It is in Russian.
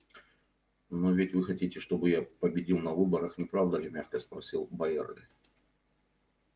но ведь вы хотите чтобы я победил на выборах не правда ли мягко спросил байерли